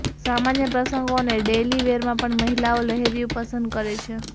સામાન્ય પ્રસંગો અને ડેઈલી વેરમાં પણ મહિલાઓ લહેરિયું પસંદ કરે છે